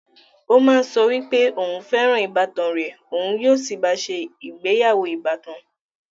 Ó má ń sọ wípé òún fẹ́ràn ìbátan rẹ̀, òun ó sì bá a se ìgbéyàwó ìbátan